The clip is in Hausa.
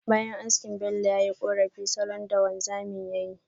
Bayan haski Bello, ya yi korafi salon haski da wanzamin yayi.